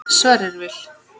Sverrir Vil.